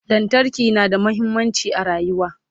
lantarki na da muhimmanci a rayuwa